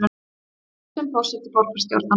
Hættir sem forseti borgarstjórnar